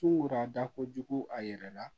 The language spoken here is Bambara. Sukoro a da kojugu a yɛrɛ la